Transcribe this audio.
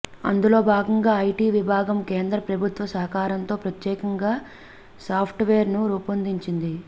అందులో భాగంగా ఐటీ విభాగం కేంద్ర ప్రభుత్వ సహకారంతో ప్రత్యేకంగా సాఫ్ట్వేర్ను రూపొందించింది